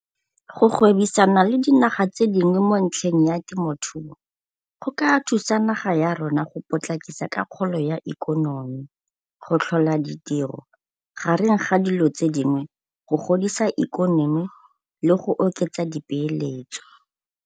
Go gwebisana le dinaga tse dingwe mo ntlheng ya temothuo go ka thusa naga ya rona go potlakisa ka kgolo ya ikonomi, go tlhola ditiro, gareng ga dilo tse dingwe, go godisa ikonomi le go oketsa dipeeletso.